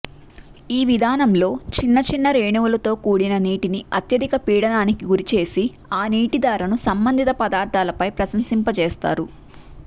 ఈ విధానంలో చిన్నచిన్న రేణువులతో కూడిన నీటిని అత్యధిక పీడనానికి గురిచేసి ఆ నీటిధారను సంబంధిత పదార్థాలపై ప్రసరింపజేస్తారు